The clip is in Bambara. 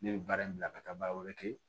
Ne bɛ baara in bila ka taa baara wɛrɛ kɛ